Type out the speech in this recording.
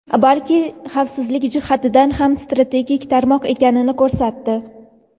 balki xavfsizlik jihatidan ham strategik tarmoq ekanini ko‘rsatdi.